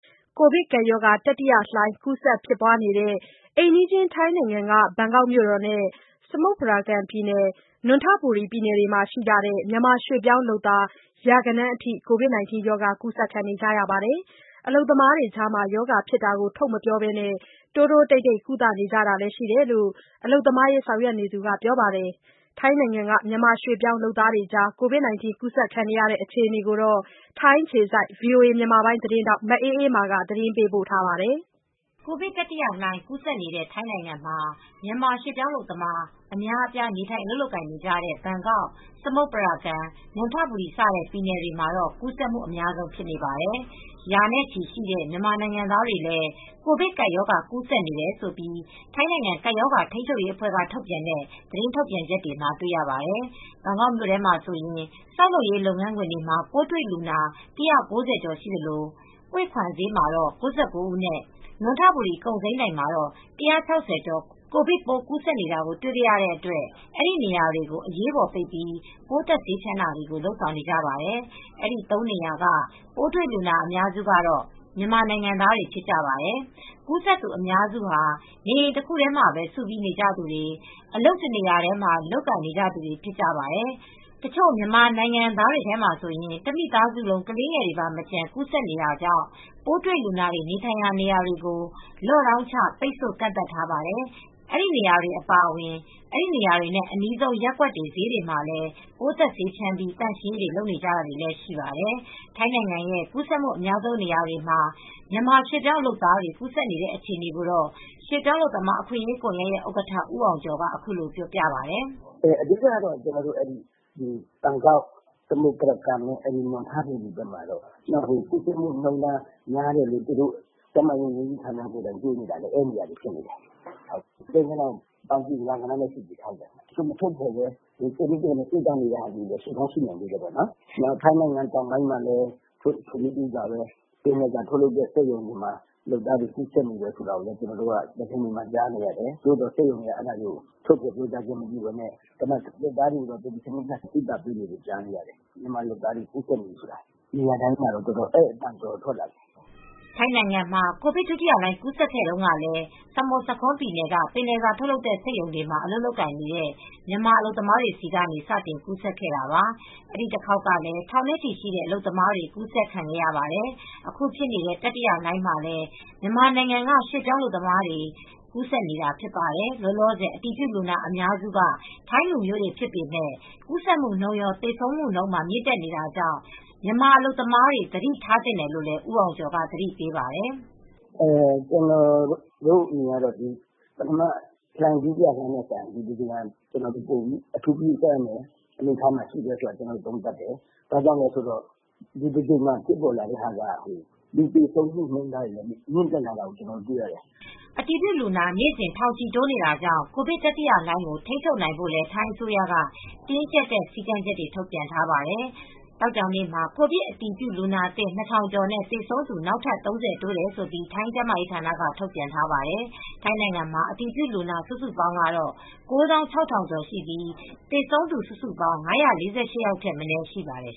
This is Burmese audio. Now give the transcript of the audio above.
ကိုဗစ်ကပ်ရောဂါ တတိယလှိုင်း ကူးစက်ဖြစ်ပွားနေတဲ့ အိမ်နီးချင်းထိုင်းနိုင်ငံက ဘန်ကောက်မြို့တော်နဲ့ စမုတ်ပရာကန်ပြည်နယ်၊ နွံထဘူရီပြည်နယ်တွေမှာရှိကြတဲ့ မြန်မာရွှေ့ပြောင်းလုပ်သား ရာဂဏန်းအထိ ကိုဗစ်ရောဂါ ကူးစက်နေကြပါတယ်။ အလုပ်သမားတွေကြားမှာ ရောဂါဖြစ်တာကို ထုတ်မပြောဘဲ တိုးတိုးတိတ်တိတ် ကုသနေကြတာလည်းရှိတယ်လို့ အလုပ်သမားအရေးဆောင်ရွက်နေသူကပြောပါတယ်။ ထိုင်းက မြန်မာရွှေ့ပြောင်းလုပ်သားတွေကြား ကိုဗစ်ကူးစက်နေတဲ့ အခြေအနေကို ထိုင်းအခြေစိုက် ဗွီအိုအေသတင်းထောက် မအေးအေးမာက သတင်းပေးပို့ထားပါတယ်။ ကိုဗစ်တတိယလှိုင်း ကူးစက်နေတဲ့ ထိုင်းနိုင်ငံမှာ မြန်မာရွှေ့ပြောင်းလုပ်သား အများအပြား နေထိုင်အလုပ်လုပ်နေကြတဲ့ ဘန်ကောက်၊ စမုတ်ပရကန်၊ နံွံထဘူရီ စတဲ့ပြည်နယ်တွေမှာ ကူးစက်မှု အများဆုံးဖြစ်နေပါတယ်။ ရာနဲ့ချီတဲ့ မြန်မာနိုင်ငံသားတွေလည်း ကိုဗစ်ကပ်ရောဂါ ကူးစက်နေတယ်လို့ ထိုင်းနိုင်ငံ ကပ်ရောဂါထိန်းချုပ်ရေးအဖွဲ့ရဲ့ သတင်းထုတ်ပြန်ချက်တွေမှာ တွေ့ရပါတယ်။ ဘန်ကာက်မြို့ထဲမှာဆိုရင် ဆောက်လုပ်ရေး လုပ်ငန်းခွင်တွေမှာ ပိုးတွေ့လူနာ ၁၉၀ ကျော်ရှိသလို ဟွေခွမ်ဈေးမှာ ၉၉ ဦးနဲ့ နွံထဘူရီ ကုန်စိမ်းဒိုင်မှာ ၁၆၀ ကျော် ကိုဗစ်ပိုးကူးစက်နေတာ တွေ့ခဲ့ရတဲ့အတွက် အဲဒီနေရာတွေကို အရေးပေါ် ပိတ်ပြီး ပိုးသတ်ဆေးဖြန်းတာတွေ လုပ်ဆောင်နေကြပါတယ်။ အဲဒီ သုံးနေရာက ပိုးတွေလူနာအများစုကတော့ မြန်မာနိုင်ငံသားတွေဖြစ်ကြပါတယ်။ ကူးစက်သူအများစုဟာ နေအိမ်တခုထဲမှာ စုပြီး နေကြသူတွေ၊ အလုပ်တနေရာတည်း လုပ်နေကြသူတွေဖြစ်ကြပါတယ်။ တချို့မြန်မာနိုင်ငံသားတွေထဲမှာဆိုရင် မိသားစုတခုလုံး ကလေးငယ်တွေပါမကျန် ကူးဆက်နေတာကြောင့် ပိုးတွေ့လူနာတွေ နေထိုင်တဲ့နေရာတွေကို lockdown ချပိတ်ဆို့ကတ်သတ်ထားပါတယ်။ အဲဒီနေရာတွေအပါအဝင် အဲဒီနေရာတွေနဲ့ အနီးဆုံး ရပ်ကွက်တွေ၊ ဈေးတွေမှာလည်း ပိုးသတ်ဆေးတွေဖြန်းပြီး သန့်ရှင်းရေးလုပ်နေကြတာတွေလည်းရှိပါတယ်။ ထိုင်းနိုင်ငံရဲ့ကူးစက်မူအများဆုံးနေရာတွေမှာ မြန်မာရွှေ့ပြောင်းလုပ်သားတွေ ကူးစက်နေတဲ့ အခြေအနေကို ရွှေ့ပြောင်းအလုပ်သမားအခွင့်အရေးကွန်ယက်ဥက္ကဌ ဦးအောင်ကျော်က အခုလိုပြောပါတယ်။ "အဓိကတော့ဘန်ကောက် စမုတ်ပရာကန် နွံထဘူရီဘက်မှာ ကူးစက်မူနှုံးထား များနေတယ်လို့သူတို့ကျန်းမာရေးဝန်ကြီးဌာနကိုယ်တိုင်တွေ့နေတာပဲ ကိန်းဂဏန်းကတော့ ရာဂဏန်းလောက်ရှိနေတယ်။ သူတို့ထုတ်ဖော်တာမျိုး မလုပ်ဘဲ ကိုယ့်နည်းကိုယ်ဟန်နဲ့ ကုသနေတာတွေလည်း ရှိကောင်းရှိနိုင်သေးတယ်။ နောက်ပြီးတော့ ထိုင်းနိုင်ငံတောင်ပိုင်းက ပင်လယ်စာထုတ်လုပ်တဲ့ စက်ရုံတွေမှာလည်း လုပ်သားတွေကူးစက်နေတာကြားနေရတယ်။ သို့သော် စက်ရုံတွေကတော့ ထုတ်ဖော်ပြောကြားတာမရှိဘဲ လုပ်သားတွေကို ကုသနေကြတာတွေလည်းရှိတယ်။ မြန်မာအလုပ်သမားတွေကူးစက်နေတယ်ဆိုတာကို နေရာအတိုင်းမှာ အဲဒီအသံတွေတော်တော်ထွက်လာတာ။" ထိုင်းနိုင်ငံမှာ ကိုဗစ် ဒုတိယလှိုင်းကူးစက်ခဲ့တုန်းကလည်း ဆမွတ်ဆာခွန်းပြည်နယ်က ပင်လယ်စာထုတ်လုပ်တဲ့ စက်ရုံတွေမှာ အလုပ်လုပ်တဲ့ မြန်မာအလုပ်သမားတွေဆီကနေ စတင်ကူးစက်ခဲ့တာပါ။ အဲဒီတခေါက်ကလည်း ထောင်နဲ့ချီရှိတဲ့အလုပ်သမားတွေကူးစက်ခံခဲ့ရပါတယ်။ အခုဖြစ်နေတဲ့ တတိယလှိုင်းမှာလည်း မြန်မာနိုင်ငံက ရွှေ့ပြောင်းလုပ်သားတွေမှာ ကူးစက်နေတာဖြစ်ပါတယ်။ လောလောဆယ် အတည်ပြုလူနာအများစုက ထိုင်းနိုင်ငံသားတွေဖြစ်ပေမယ့် ကူးစက်မှုနှုန်းရော သေဆုံးမှုနှုန်းပါ မြင့်တက်နေတာကြောင့် မြန်မာအလုပ်သမားတွေ သတိထားသင့်တယ်လို့လည်း ဦးအောင်ကျော်က သတိပေးပါတယ်။ "ကျနော်တို့အမြင်ကတော့ ပထမလှိုင်း ဒုတိယလှိုင်းထက်စာရင် ဒီတကြိမ်က အထူးဂရုပြုရမယ်ဆိုတာကို ကျနော်တို့သုံးသပ်တယ် ဘာကြောင့်လဲဆိုတော့ လူသေဆုံးမှုနှုန်းထားတွေကမြင့်တက်လာကိုတွေ့ရတယ်။" အတည်ပြုလူနာ နေ့စဉ် ထောင်ချီ တိုးနေတာကြောင့် ကိုဗစ်တတိယလှိုင်းကို ထိန်းချုပ်နိုင်ဖို့လည်း ထိုင်းအစိုးရက တင်းကြပ်တဲ့ စည်းကမ်းချက်တွေ ထုတ်ပြန်ထားပါတယ်။ သောကြောနေ့မှာ ကိုဗစ်အတည်ပြုလူနာသစ် ၂,၀၀၀ ကျော်နဲ့ သေဆုံးသူ နောက်ထပ် ၃၀ တိုးတယ်လို့ ထိုင်းကျန်းမာရေးဌာနက ထုတ်ပြန်ထားပါတယ်။ ထိုင်းနိုင်ငံမှာ အတည်ပြုလူနာစုစုပေါင်းကတော့ ၉၆,၀၀၀ ကျော်ရှိပြီး သေဆုံးသူ စုစုပေါင်း ၅၄၈ ယောက်ထက် မနည်းရှိပါတယ်